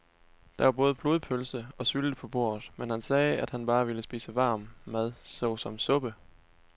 Der var både blodpølse og sylte på bordet, men han sagde, at han bare ville spise varm mad såsom suppe.